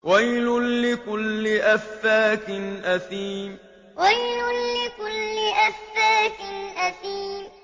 وَيْلٌ لِّكُلِّ أَفَّاكٍ أَثِيمٍ وَيْلٌ لِّكُلِّ أَفَّاكٍ أَثِيمٍ